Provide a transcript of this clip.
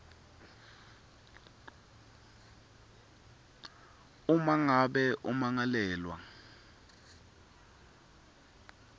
uma ngabe ummangalelwa